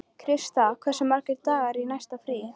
Krista, hversu margir dagar fram að næsta fríi?